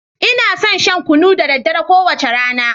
Ina son shan kunu da daddare, kowace rana.